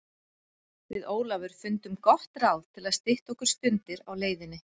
Við Ólafur fundum gott ráð til að stytta okkur stundir á leiðinni.